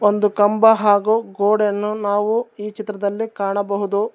ಒಂದು ಕಂಬ ಹಾಗೂ ಗೋಡೆಯನ್ನು ನಾವು ಈ ಚಿತ್ರದಲ್ಲಿ ಕಾಣಬಹುದು.